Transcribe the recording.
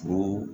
Ko